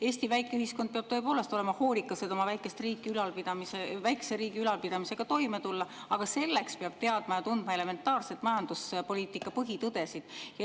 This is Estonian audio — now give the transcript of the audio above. Eesti väike ühiskond peab tõepoolest olema hoolikas, et oma väikese riigi ülalpidamisega toime tulla, aga selleks peab teadma ja tundma elementaarseid majanduspoliitika põhitõdesid.